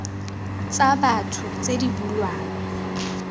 tsa batho tse di bulwang